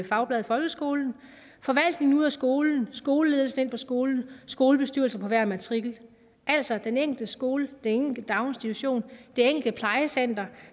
fagbladet folkeskolen forvaltningen ud af skolen skoleledelsen ind på skolen skolebestyrelser på hver matrikel altså den enkelte skole enkelte daginstitution det enkelte plejecenter